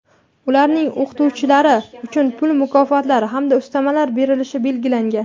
ularning oʼqituvchilari uchun pul mukofotlari (hamda ustamalar) berilishi belgilangan.